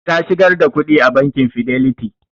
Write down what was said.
Ta shigar da kuɗin a bakin fidelity